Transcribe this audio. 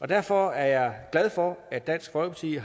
derfor er jeg glad for at dansk folkeparti